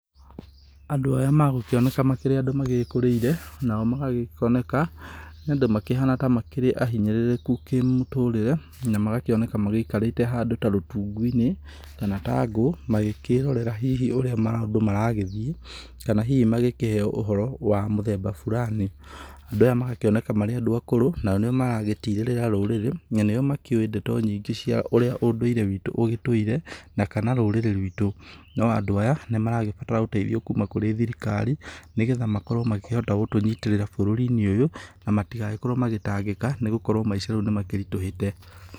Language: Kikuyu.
Andũ aya magũkĩoneka makĩrĩ andũ magĩkũrĩire, nao magagĩkĩoneka nĩ andũ makĩhana ta makĩrĩ ahinyĩrĩrĩku kĩmũtũrĩre, na magakĩoneka magĩikarĩte handũ ta rũtungu-inĩ kana ta ngũ, magĩkĩrorera hihi ũrĩa maũndũ maragĩthiĩ. Kana hihi magĩkĩheo ũhoro wa mũthemba burani. Andũ aya magakĩoneka marĩ andũ akũrũ nao nĩo maragĩtirĩrĩra rũrĩrĩ. Na nĩo makĩũĩ ndeto nyingĩ cia ũrĩa ũndũire witũ ũgĩtũire na kana rũrĩrĩ rwitũ. No Andũ aya nĩmaragĩbatara ũteithio kuma kũrĩ thirikari, nĩgetha makorwo makĩhota gũtũnyitĩrĩra bũrũrinĩ ũyũ, na matĩgagĩkorwo magĩtangĩka nĩgũkorwo maica rĩu nĩmakĩritũhĩte.